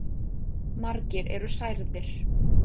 Margir eru særðir.